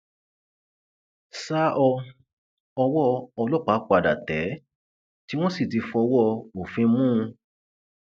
sá ọ ọwọ ọlọpàá padà tẹ ẹ tí wọn sì ti fọwọ òfin mú un